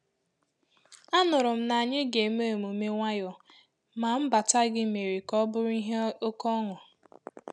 Anụrụ m na ànyị ga-eme emume nwayọọ, ma mbata gị mere ka ọ bụrụ ihe oké ọṅụ